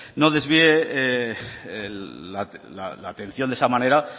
no desvíe la atención de esa manera